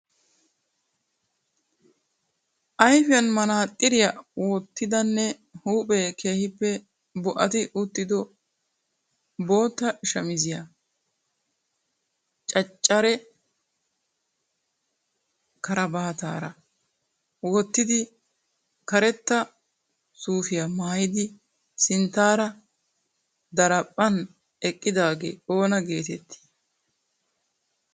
Ayfiyan manaxxiriya wottidanne huuphphee keehippe bo"ati uttido bootta shamiziya caccara karabaataara wottidi karetta suufiya maayidi sinttaara daraphphan eqqidaagee oona geetettii?